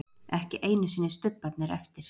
Ekki einu sinni stubbarnir eftir.